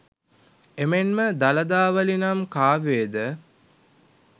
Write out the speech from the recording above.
එමෙන් ම දළදාවලි නම් කාව්‍යයේ ද